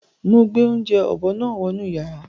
Ó máa gbé oúnjẹ ọ̀bọ náà wọ inú yàrá.